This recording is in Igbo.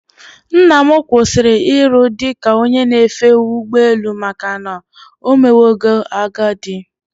Nnam kwụsịrị iru dị ka onye na-efe ụgbọ elu maka na omewago agadi